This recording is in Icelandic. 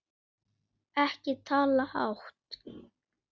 Ekki tala hátt!